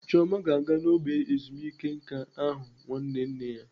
Chioma ga-aga ógbè ndị ezumike nká ahụ nwanne nne ya.